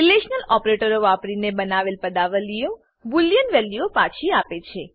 relational ઓપરેટરો વાપરીને બનાવેલ પદાવલીઓ બોલિયન બુલિઅન વેલ્યુઓ પાછી આપે છે